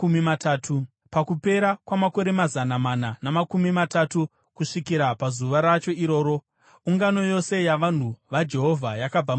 Pakupera kwamakore mazana mana namakumi matatu, kusvikira pazuva racho iroro, ungano yose yavanhu vaJehovha yakabva muIjipiti.